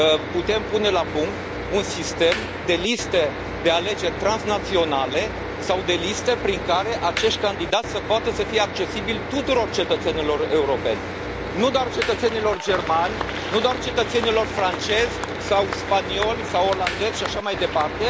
putem pune la punct un sistem de liste de alegeri transnaționale sau de liste prin care acești candidați să poată să fie accesibili tuturor cetățenilor europeni, nu doar cetățenilor germani, nu doar cetățenilor francezi sau spanioli sau olandezi și așa mai departe.